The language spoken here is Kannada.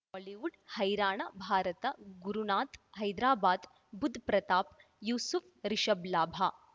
ಬಾಲಿವುಡ್ ಹೈರಾಣ ಭಾರತ ಗುರುನಾಥ್ ಹೈದರಾಬಾದ್ ಬುಧ್ ಪ್ರತಾಪ್ ಯೂಸುಫ್ ರಿಷಬ್ ಲಾಭ